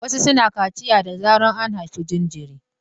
Wasu suna kaciya da zarar an haifi jinjiri.